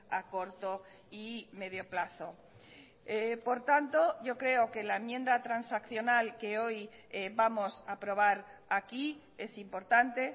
a corto y medio plazo por tanto yo creo que la enmienda transaccional que hoy vamos a aprobar aquí es importante